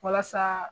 Walasa